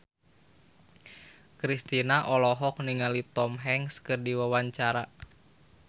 Kristina olohok ningali Tom Hanks keur diwawancara